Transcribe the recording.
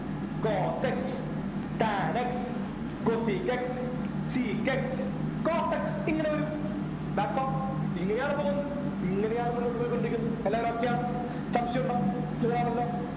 cos x tan x cosec x sec x cot x ഇങ്ങനെ വരും thats all ഇങ്ങനെയാണ് പോകുന്നത് ഇങ്ങനെയാണ് മുന്നോട്ട് പോയിക്കൊണ്ടിരിക്കുന്നത് എല്ലാരും okay ആണോ സംശയുണ്ടോ clear ആണല്ലോ